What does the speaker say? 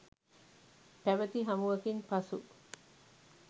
පැවති හමුවකින් පසු